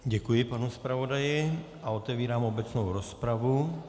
Děkuji panu zpravodaji a otevírám obecnou rozpravu.